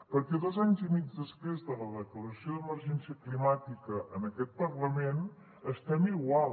perquè dos anys i mig després de la declaració d’emergència climàtica en aquest parlament estem igual